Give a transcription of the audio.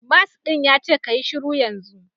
Mask din yace kayi shiru yanzu